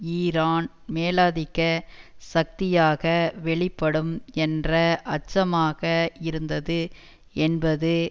Iran மேலாதிக்க சக்தியாக வெளிப்படும் என்ற அச்சமாக இருந்தது என்பது